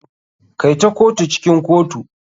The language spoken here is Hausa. Kai ta kotu cikin kotu.